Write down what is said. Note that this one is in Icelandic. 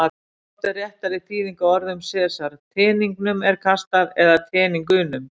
Hvort er réttari þýðing á orðum Sesars: Teningnum er kastað eða Teningunum?